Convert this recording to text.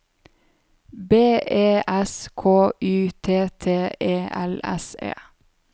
B E S K Y T T E L S E